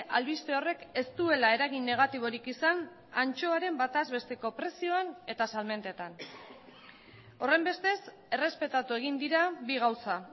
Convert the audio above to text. albiste horrek ez duela eragin negatiborik izan antxoaren bataz besteko prezioan eta salmentetan horrenbestez errespetatu egin dira bi gauza